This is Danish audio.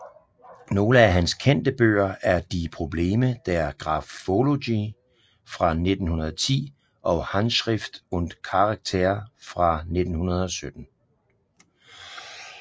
Nogle af hans kendte bøger er Die Probleme der Graphologie fra 1910 og Handschrift und Charakter fra 1917